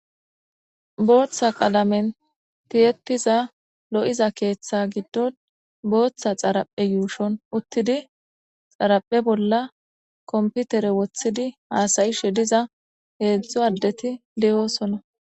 Booththa qalamen tiyetiza lo'iza keeththe giddon booththa xaraphe yuushon uttidi xaraphe bolla komputere woththidi haasayishe diza geedzdzu addeti deyoosona.